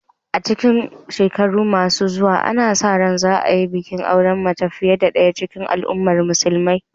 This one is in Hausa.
A cikin shekaru masu zuwa, ana sa ran za a yi bikin auren mace fiye da ɗaya cikin al’umman musulmai.